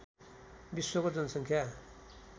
विश्वको जनसङ्ख्या